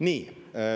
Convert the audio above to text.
Nii.